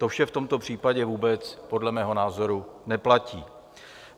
To vše v tomto případě vůbec podle mého názoru neplatí.